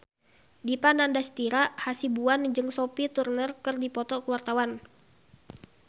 Dipa Nandastyra Hasibuan jeung Sophie Turner keur dipoto ku wartawan